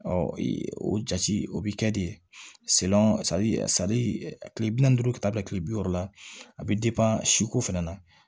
o jati o bi kɛ de kile bi naani ni duuru ka taa bila kile bi wɔɔrɔ la a bɛ siko fɛnɛ na